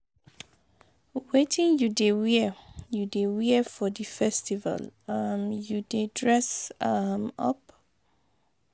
Wetin you dey wear you dey wear for di festival, um you dey dress um up?